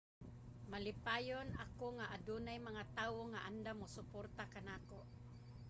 malipayon ako nga adunay mga tawo nga andam mosuporta kanako